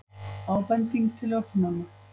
Ábending til ökumanna